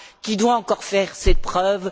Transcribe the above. qui doit encore faire ses preuves.